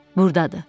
Burdadır.